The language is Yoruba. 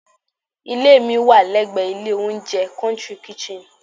Ilé mi wà lẹ́gbẹ̀ ilé oúnjẹ "country kitchen"